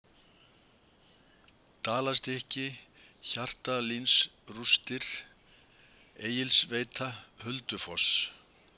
Dalastykki, Hjaltalínsrústir, Egilsveita, Huldufoss